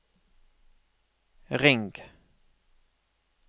ring